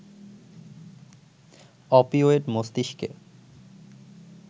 opioid মস্তিষ্কে